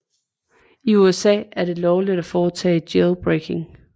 I USA er det lovligt at foretage jailbreaking